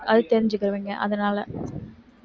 அது தெரிஞ்சுக்குவீங்க அதனால